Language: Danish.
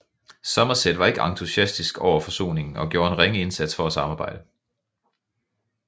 Somerset var ikke entusiastisk over forsoningen og gjorde en ringe indsats for at samarbejde